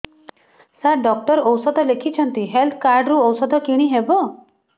ସାର doctor ଔଷଧ ଲେଖିଛନ୍ତି health card ରୁ ଔଷଧ କିଣି ହେବ